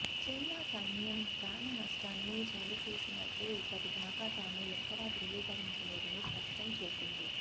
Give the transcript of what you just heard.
China సైన్యం ప్రాణనష్టాన్ని చవి చూసినట్లు ఇప్పటిదాకా తాము ఎక్కడా ధృవీకరించలేదని స్పష్టం చేసింది